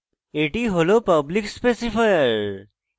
এটি হল public specifier